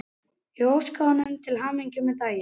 Ég óskaði honum til hamingju með daginn.